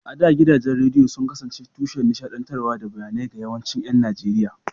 A da, gidajen rediyo sun kasance tushen nishaɗantarwa da bayanai ga yawancin ƴan Najeriya.